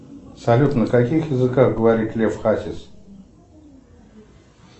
салют на каких языках говорит лев хасис